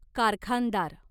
कारखानदार